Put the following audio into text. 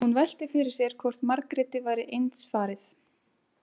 Hún velti fyrir sér hvort Margréti væri eins farið.